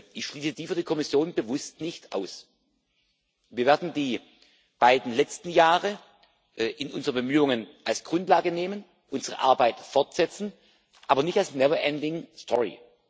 Ich schließe dies für die Kommission bewusst nicht aus. Wir werden die beiden letzten Jahre in unseren Bemühungen als Grundlage nehmen, unsere Arbeit fortsetzen, aber nicht als neverending story